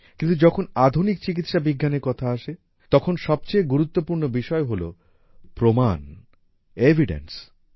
কিন্তু যখন আধুনিক চিকিৎসা বিজ্ঞানের কথা আসে তখন সবচেয়ে গুরুত্বপূর্ণ বিষয় হল প্রমাণ এভিড্যান্স